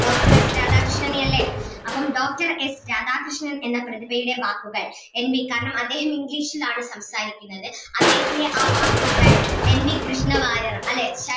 doctor S രാധാകൃഷ്ണനെയല്ലേ അപ്പം doctor S Radhakrishnan എന്ന പ്രതിഭയിലെ വാക്കുകൾ എൻ വി കാരണം അദ്ദേഹം English ൽ ആണ് സംസാരിക്കുന്നത് അദ്ദേഹത്തിൻ്റെ ആ വാക്കുകൾ എൻ വി കൃഷ്ണവാര്യർ